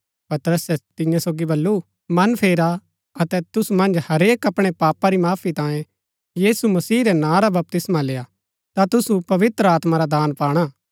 पतरसे तियां सोगी बल्लू मन फेरा अतै तुसु मन्ज हरेक अपणै अपणै पापा री माफी तांयें यीशु मसीह रै नां रा बपतिस्मा लेय्आ ता तुसु पवित्र आत्मा रा दान पाणा